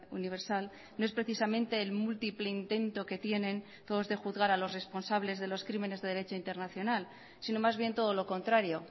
universal no es precisamente el múltiple intento que tienen todos de juzgar a los responsables de los crímenes de derecho internacional sino más bien todo lo contrario